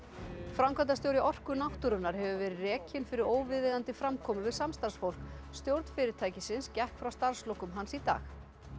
framkvæmdastjóri Orku náttúrunnar hefur verið rekinn fyrir óviðeigandi framkomu við samstarfsfólk stjórn fyrirtækisins gekk frá starfslokum hans í dag